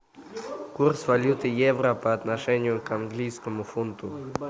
курс валюты евро по отношению к английскому фунту